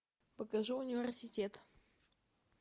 покажи университет